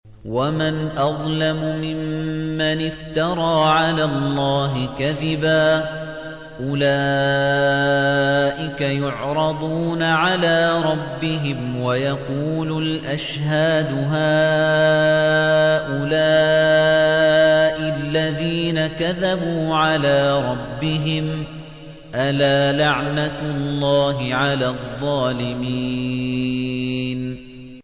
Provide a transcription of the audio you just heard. وَمَنْ أَظْلَمُ مِمَّنِ افْتَرَىٰ عَلَى اللَّهِ كَذِبًا ۚ أُولَٰئِكَ يُعْرَضُونَ عَلَىٰ رَبِّهِمْ وَيَقُولُ الْأَشْهَادُ هَٰؤُلَاءِ الَّذِينَ كَذَبُوا عَلَىٰ رَبِّهِمْ ۚ أَلَا لَعْنَةُ اللَّهِ عَلَى الظَّالِمِينَ